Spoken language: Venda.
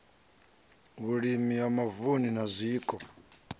vhulimi ya mavunu na zwiko